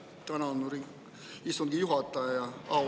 Tänan, istungi juhataja!